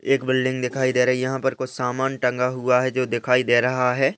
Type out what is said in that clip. एक बिल्डिंग दिखाई दे रही है यहां पर कुछ सामान टंगा हुआ है जो दिखाई दे रहा है।